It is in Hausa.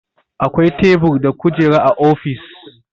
Akwai tebur da kujera a ofis